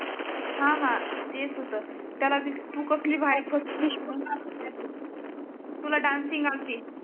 हा हा तेच होतं. त्याला तु कसली भारी फिश तुला डासिन्ग आलती.